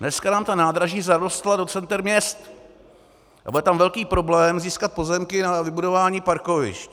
Dneska nám ta nádraží zarostla do center měst a bude tam velký problém získat pozemky na vybudování parkovišť.